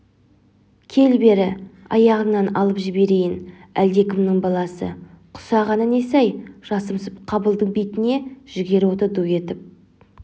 кел бері аяғыңнан алып жіберейін әлдекімнің баласы құсағаны несі-ай жасымсып қабылдың бетіне жігер оты ду етіп